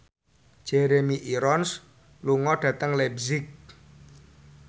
Jeremy Irons lunga dhateng leipzig